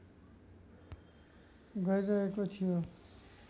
गरिरहेको थियो